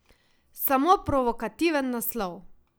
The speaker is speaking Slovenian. Samo provokativen naslov.